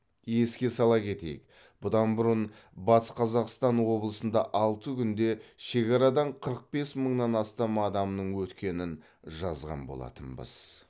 еске сала кетейік бұдан бұрын батыс қазақстан облысында алты күнде шекарадан қырық бес мыңнан астам адамның өткенін жазған болатынбыз